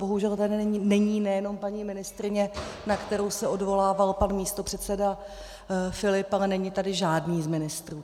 Bohužel tady není nejenom paní ministryně, na kterou se odvolával pan místopředseda Filip, ale není tady žádný z ministrů.